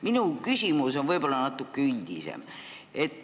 Minu küsimus on natuke üldisem.